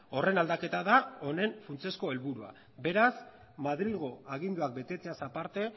horren aldaketa da honen funtsezko helburua beraz madrilgo aginduak betetzeaz aparte